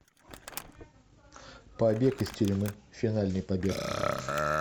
побег из тюрьмы финальный побег